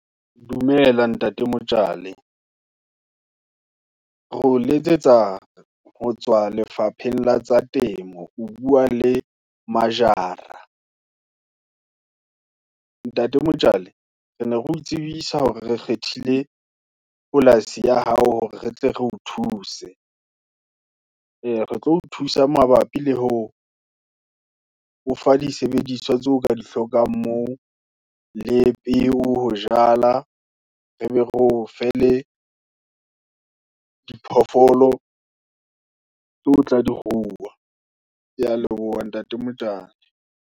Dumela ntate Mtshali, re o letsetsa, ho tswa lefapheng, la tsa temo, o bua le Majara. Ntate Mtshali, re ne ro tsebisa hore, re kgethile polasi ya hao, hore re tle re o thuse. Ee re tlo o thusa mabap, i le ho o fa disebediswa tseo, o ka di hlokang moo, le peo, ho jala, rebe re ofe, le diphoofolo tseo tla di ruwa. Ke ya leboha ntate Mtshali.